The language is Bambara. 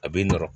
A bɛ nɔrɔ